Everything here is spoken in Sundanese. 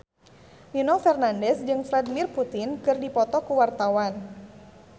Nino Fernandez jeung Vladimir Putin keur dipoto ku wartawan